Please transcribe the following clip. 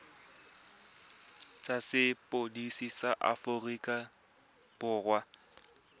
tsa sepodisi sa aforika borwa